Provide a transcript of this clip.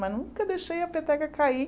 Mas nunca deixei a peteca cair.